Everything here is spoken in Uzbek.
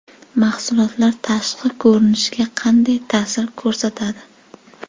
Mahsulotlar tashqi ko‘rinishga qanday ta’sir ko‘rsatadi?.